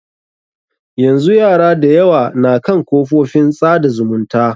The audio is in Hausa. Yanzu yara da yawa na kan kafofin tsada zumunta.